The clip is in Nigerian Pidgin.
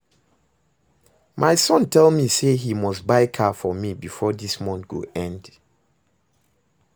My son tell me say he must buy car for me before dis month go end